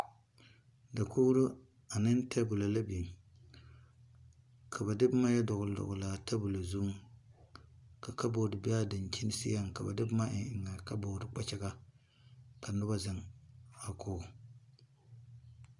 Dakouri ane tabula la beng ka ba de buma yɛ doɔle doɔle a tabulo zun ka kapboard be a dankyeni seɛ ka ba de buma en en a kapboardi kpakyaga ka nuba a zeng kug a kogo.